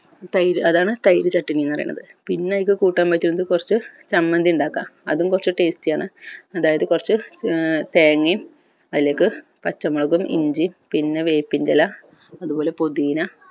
തൈര് അതാണ് തൈര് ചട്ടിനി എന്ന് പറയണത് പിന്നെ ഇതിന് കൂട്ടാൻ പറ്റുന്നത് കൊർച്ച് ചമ്മന്തി ഇണ്ടാക്കാം അതും കൊർച്ച് tasty ആണ് അതായത് കൊർച്ച് ഏർ തേങ്ങയും അതിലേക് പച്ചമുളകും ഇഞ്ചിയും പിന്നെ വേപ്പിൻറ്റെല അത് പോലെ പുതീന